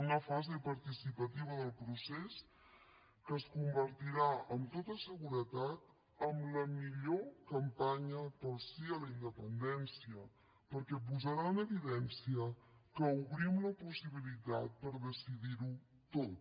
una fase participativa del procés que es convertirà amb tota seguretat en la millor campanya pel sí a la independència perquè posarà en evidència que obrim la possibilitat per decidir ho tot